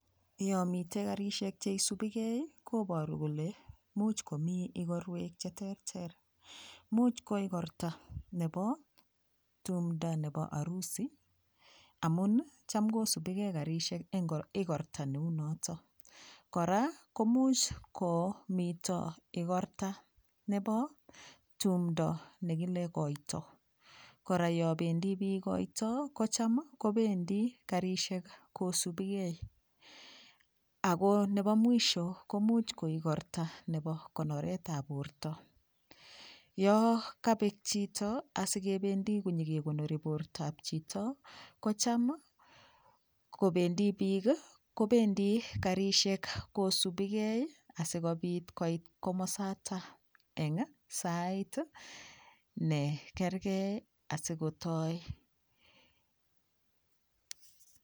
Yo mitei Karishek cheisubikei koboru kole muuch komii igorwek cheterter muuch ko igorta nebo tumdo nebo arusi amun Cham kosubikei Karishek eng igorta noto kora ko much komito igorta nebo tumdo nekile koito kora yo bendii piik koito ko Cham kobendi Karishek kosubikei ako nebo mwisho ko much ko igorta nebo konoret ab borto yo kabek chito asikebendi konyikekonori borto kocham kobendi piik, kobendi Karishek kosubikei asikobit koit komosta eng wait nekergei asikotoi